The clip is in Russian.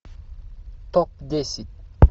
топ десять